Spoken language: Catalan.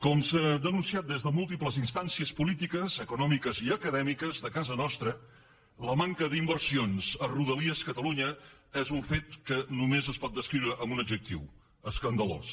com s’ha denunciat des de múltiples instàncies polítiques econòmiques i acadèmiques de casa nostra la manca d’inversions a rodalies catalunya és un fet que només es pot descriure amb un adjectiu escandalós